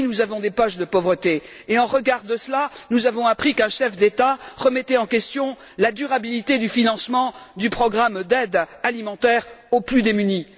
Oui, nous avons des poches de pauvreté et, en regard de cela, nous avons appris qu'un chef d'État remettait en question la durabilité du financement du programme d'aide alimentaire aux plus démunis.